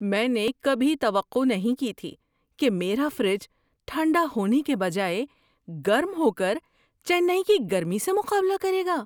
میں نے کبھی توقع نہیں کی تھی کہ میرا فریج ٹھنڈا ہونے کے بجائے گرم ہو کر چنئی کی گرمی سے مقابلہ کرے گا!